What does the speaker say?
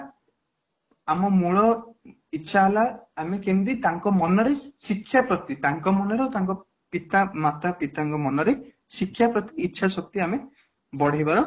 ଆମ ମୂଳ ଇଛା ହେଲା ଆମେ କେମିତି ତାଙ୍କ ମନରେ ଶିକ୍ଷା ପ୍ରତି ତାଙ୍କ ମନରେ ତାଙ୍କ ପିତା ମାତା ମାତା ପିତା ଙ୍କ ମନରେ ଶିକ୍ଷା ପ୍ରତି ଇଛା ଶକ୍ତି ଆମେ ବଢେଇବା